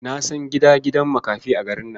Na san gidan gidan makafi a garin nan.